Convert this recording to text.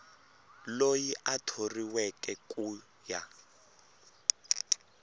loyi a thoriweke ku ya